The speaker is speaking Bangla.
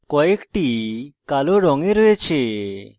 কয়েকটি কালো রঙে রয়েছে